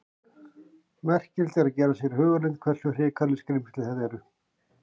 Merkilegt er að gera sér í hugarlund hversu hrikaleg skrímsli þetta eru.